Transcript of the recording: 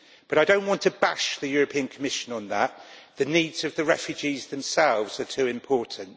But I do not want to bash the European Commission on that, the needs of the refugees themselves are too important.